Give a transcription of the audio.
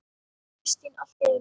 Kristín allt í einu.